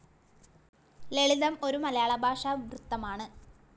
ലളിതം ഒര‌ു മലയാള ഭാഷാ വൃത്തമാണ്.